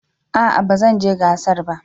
A'a ba zan je gasar ba.